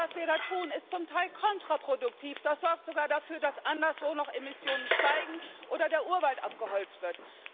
Denn was wir da tun, ist zum Teil kontraproduktiv, das sorgt sogar dafür, dass anderswo noch Emissionen steigen oder der Urwald abgeholzt wird.